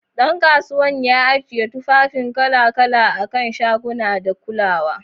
Dan kasuwan ya ajiye tufafin kala-kala a kan shaguna da kulawa.